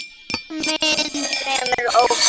Formin fremur ófögur.